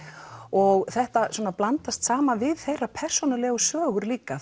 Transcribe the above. og þetta blandast saman við þeirra persónulegu sögur líka